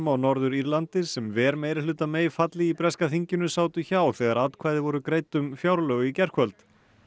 á Norður Írlandi sem ver meirihluta May falli í breska þinginu sátu hjá þegar atkvæði voru greidd um fjárlög í gærkvöld